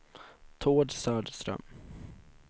Tord Söderström